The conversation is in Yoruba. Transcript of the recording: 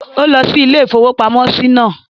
Ó lọ sí ilé-ìfowópamọ́sí náà